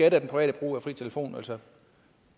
af den private brug af fri telefon altså